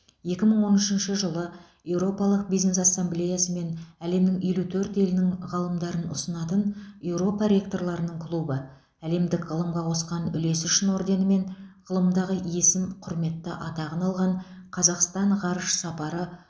екі мың он үшінші жылы еуропалық бизнес ассамблеясы мен әлемнің елу төрт елінің ғалымдарын ұсынатын еуропа ректорларының клубы әлемдік ғылымға қосқан үлесі үшін орденімен ғылымдағы есім құрметті атағын алған қазақстан ғарыш сапары